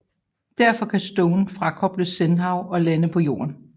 Derfor kan Stone frakoble Shenzhou og lande på Jorden